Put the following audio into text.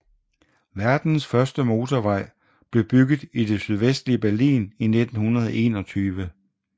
Verdens første motorvej blev bygget i det sydvestlige Berlin i 1921